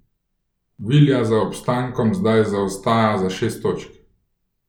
Villa za obstankom zdaj zaostaja za šest točk.